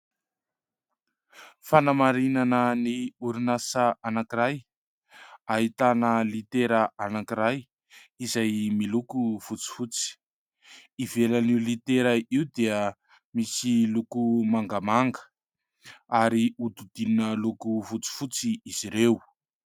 Fanamarinana ny orinasa anankiray. Ahitana litera anankiray izay miloko fotsifotsy. Ivelan'io litera io dia misy loko mangamanga ary hodidinina loko fotsifotsy izy ireo.